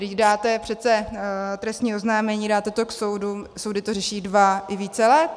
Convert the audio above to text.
Když dáte přece trestní oznámení, dáte to k soudu, soudy to řeší dva i více let.